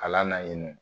Kalan na yen nɔ